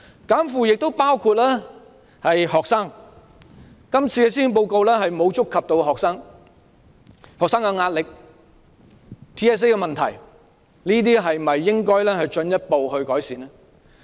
"減負"亦包括學生，今年的施政報告並無觸及學生，對於學生的壓力、TSA 等問題，政府是否應該進一步改善這些問題呢？